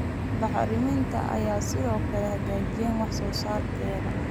Bacriminta ayaa sidoo kale hagaajiyay wax-soosaarkeeda.